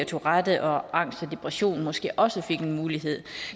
tourette og angst og depression måske også fik en mulighed